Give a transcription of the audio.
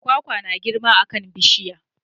Kwakwa na girma a kan bishiya.